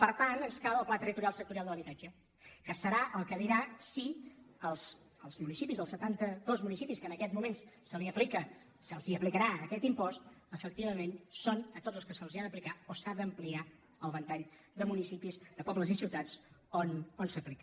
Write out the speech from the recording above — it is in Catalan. per tant ens cal el pla territorial sectorial de l’habitatge que serà el que dirà si els municipis els setantados municipis als quals en aquests moments se’ls aplicarà aquest impost efectivament són tots aquells als quals se’ls ha d’aplicar o s’ha d’ampliar el ventall de municipis de pobles i ciutats on s’aplica